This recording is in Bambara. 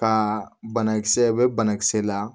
Ka banakisɛ bɛ banakisɛ la